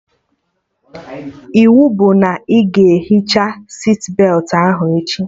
Iwu bụ na ị ga-ehicha sitbetị ahụ echi!